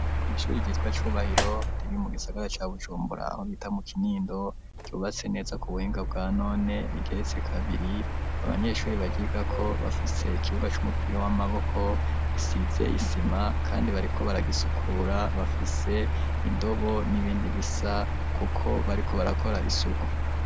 Kw'shuri ryitwa Cubahiro riri mu gisagara ca bujumbura bita mu Kinindo, ryubatse neza ku buhinga bwa none rigeretse kabiri, abanyeshure baryigako bafise ikibuga c'umupira w'amaboko gisize isima kandi bariko baragisukura bafise indobo n'ibindi bisa kuko bariko barakora isuku.